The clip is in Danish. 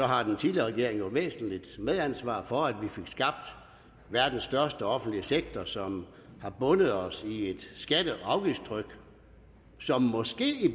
har den tidligere regering jo et væsentligt medansvar for at vi fik skabt verdens største offentlige sektor som har bundet os i et skatte og afgiftstryk som måske i